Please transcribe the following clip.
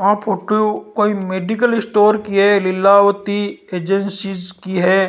आ photo कोई medical store की है लीलावती एजेंसी की है